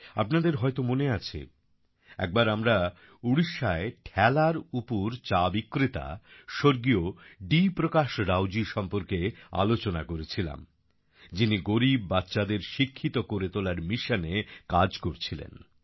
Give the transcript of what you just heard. আপনাদের হয়তো মনে আছে একবার আমরা উড়িষ্যায় ঠেলার উপর চা বিক্রেতা স্বর্গীয় ডি প্রকাশ রাউজি সম্পর্কে আলোচনা করেছিলাম যিনি গরিব বাচ্চাদের শিক্ষিত করে তোলার মিশনে কাজ করছিলেন